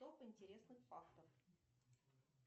топ интересных фактов